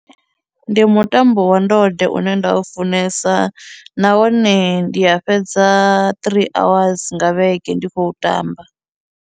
Ndi mutambo wa ndode une nda u funesa nahone ndi a fhedza three hour nga vhege ndi khou tamba.